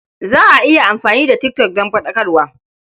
Za a iya amfani da tik tok don faɗakarwa.